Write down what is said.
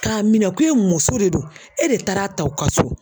K'a minɛn ko e muso de do e de taara a ta i ka so.